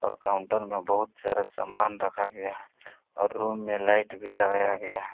और काउंटर में बहुत सारा सामान रखा गया और रूम में लाइट भी लगाया गया है।